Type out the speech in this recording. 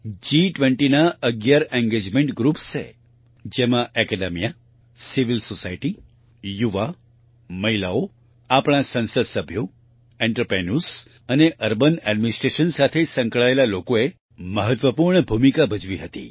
G20 ના અગિયાર engagement groups છે જેમાં એકેડેમિયા સિવિલ સોસાયટી યુવા મહિલાઓ આપણા સંસદસભ્યો આંત્રપ્રિન્યોર્સ અને અર્બન એડમિનિસ્ટ્રેશન સાથે સંકળાયેલા લોકોએ મહત્વપૂર્ણ ભૂમિકા ભજવી હતી